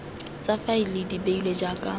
tsa faele di lebilwe jaaka